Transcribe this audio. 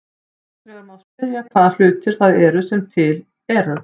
Annars vegar má spyrja hvaða hlutir það eru sem eru til.